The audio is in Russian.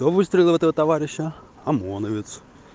кто выстрелил в этого товарища омоновец